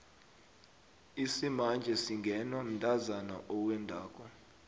isimanje singenwa mntazana owendako